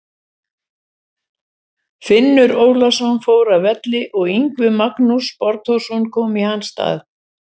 Finnur Ólafsson fór af velli og Yngvi Magnús Borgþórsson kom í hans stað.